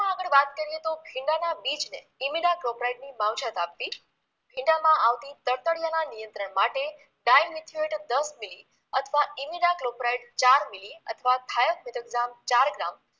કરીએ તો ભીંડાના બીજને ઈમીડા ક્લોપ્રાઈટની માવજત આપવી ભીંડામાં આવતી તડતડિયાના નિયંત્રણ માટે ડાયમિથિયોએટ દસ મિલિ અથવા ઈમીડા ક્લોપ્રાઈટ ચાર મિલિ અથવા થાયસ મિટોક્ગ્રામ ચાર ગ્રામ